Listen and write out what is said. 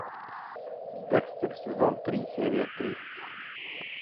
декстер сезон три серия три